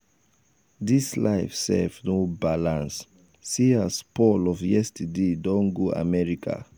dis life sef no balance see as paul of yesterday don go america.